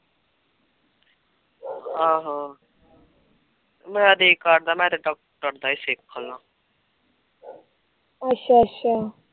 ਅਸ਼ਾ ਅਸ਼ਾ